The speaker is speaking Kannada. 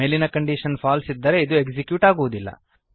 ಮೇಲಿನ ಕಂಡೀಶನ್ ಫಾಲ್ಸ್ ಇದ್ದರೆ ಇದು ಎಕ್ಸಿಕ್ಯೂಟ್ ಆಗುವುದಿಲ್ಲ